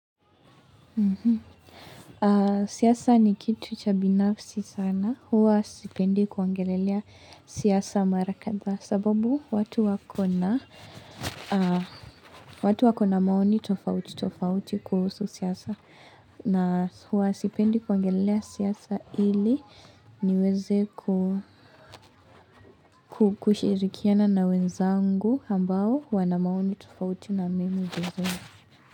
Siasa ni kitu cha binafsi sana. Huwa sipendi kuongelelea siasa marakadhaa. Sababu watu wakona maoni tofauti kuhusu siasa. Na huwa sipendi kuongelelea siasa ili niweze kushirikiana na wenzangu ambao huwa na maoni tofauti na memu zingine.